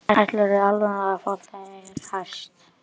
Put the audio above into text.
Ætlarðu í alvöru að fá þér hest?